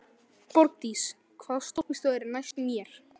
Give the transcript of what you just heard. Borgdís, hvaða stoppistöð er næst mér?